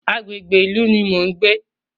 Agbègbè ìlú ní mo ń gbé.